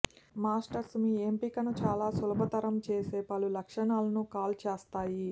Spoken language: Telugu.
మాస్టర్స్ మీ ఎంపికను చాలా సులభతరం చేసే పలు లక్షణాలను కాల్ చేస్తాయి